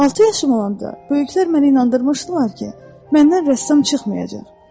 Altı yaşım olanda böyüklər məni inandırmışdılar ki, məndən rəssam çıxmayacaq.